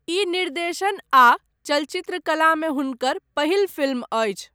ई निर्देशन आ चलचित्रकला मे हुनकर पहिल फिल्म अछि।